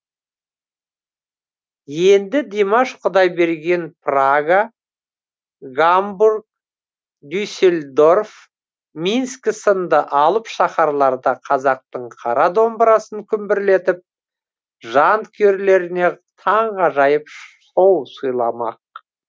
енді димаш құдайберген прага гамбург дюсельдорф минск сынды алып шаһарларда қазақтың қара домбырасын күмбірлетіп жанкүйерлеріне таңғажайып шоу сыйламақ